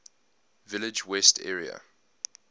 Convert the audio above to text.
village west area